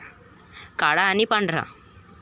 काळा आणि पांढरा.